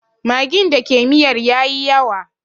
Magin da ke miyar ya yi yawa